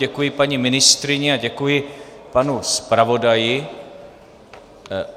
Děkuji paní ministryni a děkuji panu zpravodaji.